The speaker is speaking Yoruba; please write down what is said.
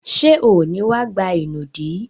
Ṣé ò ní wá gba ìnùdí?